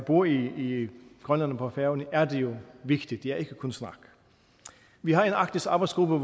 bor i grønland og på færøerne er det jo vigtigt det er ikke kun snak vi har en arktisk arbejdsgruppe